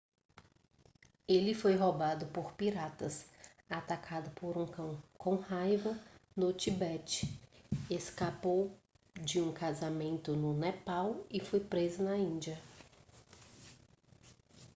ele foi roubado por piratas atacado por um cão com raiva no tibete escapou de um casamento no nepal e foi preso na índia